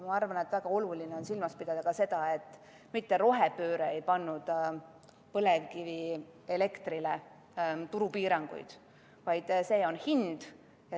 Ma arvan, et väga oluline on silmas pidada ka seda, et mitte rohepööre ei pannud põlevkivielektrile turupiiranguid, vaid see oli hind.